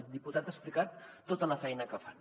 el diputat ha explicat tota la feina que fan